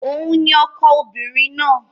Òun ni ọkọ obìnrin náà.